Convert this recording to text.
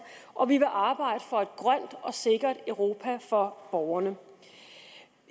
og vi vil arbejde for et grønt og sikkert europa for borgerne